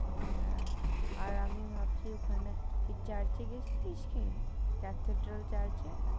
হ্যাঁ, আর আমি ভাবছি ওখানে ওই চার্চে গিয়েছিলিস কি চার্টের ক্যাথিড্রাল চার্চে?